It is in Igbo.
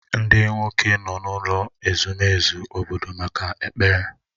Ndị nwoke nọ n'ụlọ ezumezu obodo maka ekpere